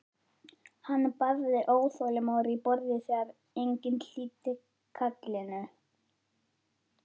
Hann barði óþolinmóður í borðið þegar enginn hlýddi kallinu.